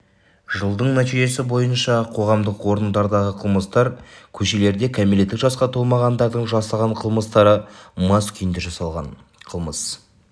жылдың нәтижесі бойынша қоғамдық орындардағы қылмыстар көшелерде кәмелеттік жасқа толмағандардың жасаған қылмыстары мас күйінде жасалған қылмыс